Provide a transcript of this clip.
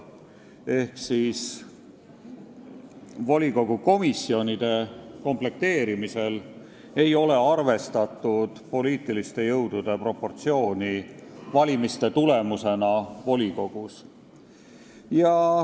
Ma pean silmas, et volikogu komisjonide komplekteerimisel ei ole arvestatud valimiste tulemusena selgunud poliitiliste jõudude proportsiooni volikogus.